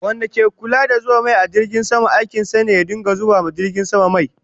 Wanda ke Kulla da zuba mai a jirgin sama, aikin sa ne ya dinga zuba ma jirgin sama mai